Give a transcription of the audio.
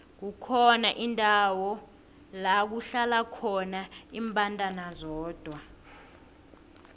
kukhona indawo lakuhlala khona imbandana zodwa